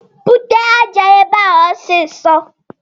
Bute aja a ebe a ọsịsọ